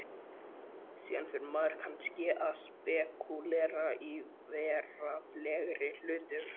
Síðan fer maður kannski að spekúlera í veraldlegri hlutum.